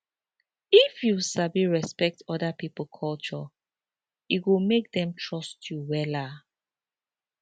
if you sabi respect oda pipo culture e go make dem trust you wella